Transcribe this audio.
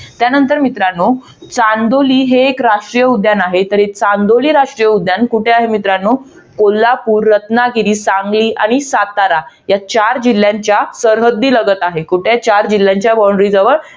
त्यानंतर, मित्रांनो चांदोली हे एक राष्ट्रीय उद्यान आहे. तर हे चांदोली राष्ट्रीय उद्यान, कुठे आहे मित्रांनो? कोल्हापूर, रत्नागिरी, सांगली आणि सातारा या चार जिल्ह्यांच्या सरहद्दीलगत आहे. कुठे आहे? चार जिल्ह्यांच्या boundray